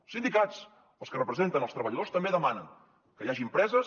els sindicats els que representen els treballadors també demanen que hi hagi empreses